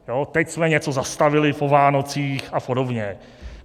Teď jsme něco zastavili po Vánocích a podobně.